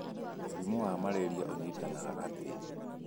Mũrimũ wa Maleria Ũnyitanaga Atĩa?